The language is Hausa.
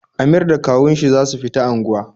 Amir da kawun shi za su fita angwa